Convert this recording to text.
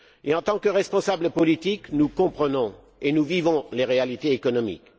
En tant que responsables politiques, nous comprenons et nous vivons les réalités économiques.